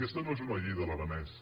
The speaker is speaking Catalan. aquesta no és una llei de l’aranès